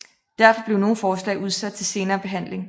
Derfor blev nogle forslag udsat til senere behandling